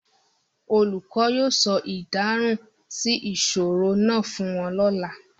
The teacher will tell them the answer to the riddle tomorrow